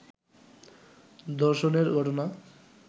ধর্ষণের ঘটনা